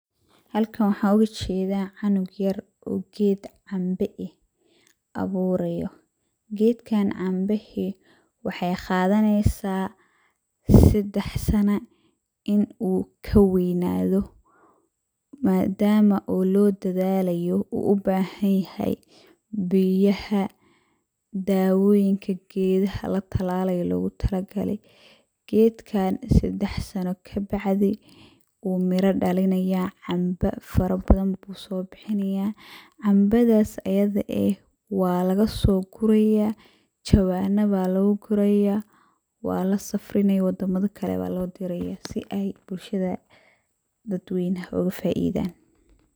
Halkan waxaan ooga jedaa cunug yar oo geed camba eh awuurayo, gedkaan cambahe waxey qadaneysaa seddex sana in uu ka weynaado, madama oo loo dadalayo oo uu u bahan yahay biyaha, dawoyinka gedaha la tallalayo logu tala gale. Gedkaan seddex sano ka bacdi wuu mira dhalinayaa, camba fara badan buu soo bixinayaa, camabadaas ayada eh waa lagasoo gurayaa, jawaanna baa lagu gurayaa, waa la safrinayaa waddama kale baa loo dirayaa si ay bulshada daweynaha oga faidaan.